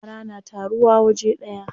Yara na taruwa waje daya.